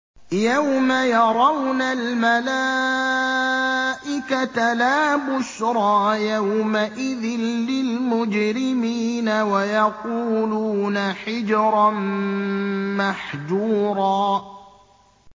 يَوْمَ يَرَوْنَ الْمَلَائِكَةَ لَا بُشْرَىٰ يَوْمَئِذٍ لِّلْمُجْرِمِينَ وَيَقُولُونَ حِجْرًا مَّحْجُورًا